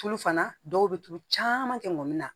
Tulu fana dɔw bɛ tulu caman kɛ ŋɔni na